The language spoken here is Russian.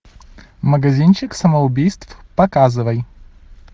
магазинчик самоубийств показывай